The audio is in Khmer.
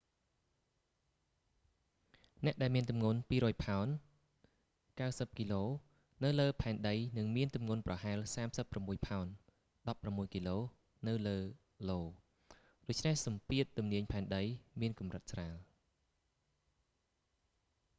អ្នកដែលមានទម្ងន់ 200ផោន 90គក នៅលើផែនដីនឹងមានទម្ងន់ប្រហែល 36ផោន 16គក នៅលើ io ដូច្នេះសម្ពាធទំនាយផែនដីមានកម្រិតស្រាល